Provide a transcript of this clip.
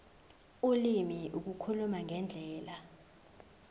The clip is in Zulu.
ulimi ukukhuluma ngendlela